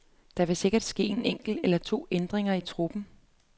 Der vil sikkert ske en enkelt eller to ændringer i truppen.